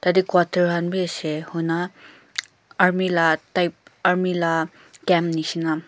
yatey quarter han bi ase hoina army la type army la camo nishina.